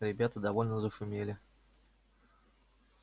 ребята довольно зашумели